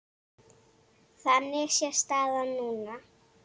Þannig sé staðan núna.